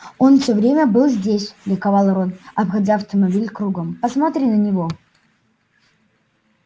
он всё время был здесь ликовал рон обходя автомобиль кругом посмотри на него